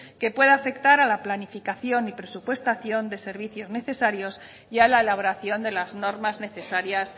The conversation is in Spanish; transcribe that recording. que puede afectar a la planificación y presupuestación de servicios necesarios y a la elaboración de las normas necesarias